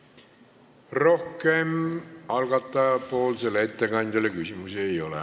Rohkem algatajapoolsele ettekandjale küsimusi ei ole.